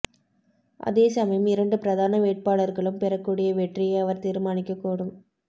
அதேசமயம் இரண்டு பிரதான வேட்பாளர்களும் பெறக்கூடிய வெற்றியை அவர் தீர்மானிக்கக் கூடும்